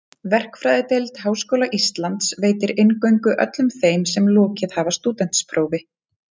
Verkfræðideild Háskóla Íslands veitir inngöngu öllum þeim sem lokið hafa stúdentsprófi.